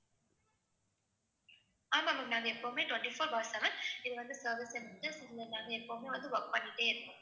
ஆமா ma'am நாங்க எப்பவுமே twenty-four bar seven இது வந்து service இதுல நாங்க எப்பவுமே வந்து work பண்ணிட்டே இருப்போம்.